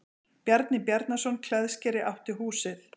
Bjarni Bjarnason klæðskeri átti húsið.